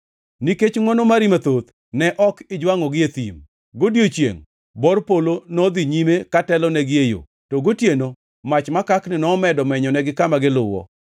“Nikech ngʼwono mari mathoth ne ok ijwangʼogi e thim. Godiechiengʼ, bor polo nodhi nyime ka telonegi e yo, to gotieno mach makakni nomedo menyonegi kama giluwo.